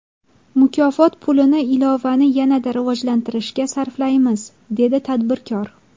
Mukofot pulini ilovani yanada rivojlantirishga sarflaymiz”, dedi tadbirkor.